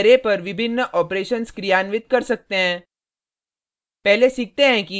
ये functions array पर विभिन्न ऑपरेशन्स क्रियान्वित कर सकते हैं